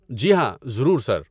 جی ہاں، ضرور، سر۔